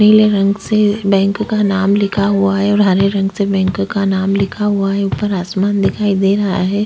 नीले रंग से बैंक का नाम लिखा हुआ है और हरे रंग से बैंक का नाम लिखा हुआ है ऊपर आसमान दिखाई दे रहा है।